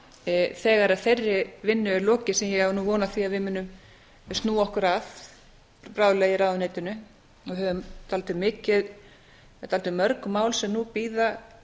vinnu þegar þeirri vinnu er lokið sem ég á von á að því að við munum snúa okkur að bráðlega í ráðuneytinu það eru dálítið mörg mál sem nú bíða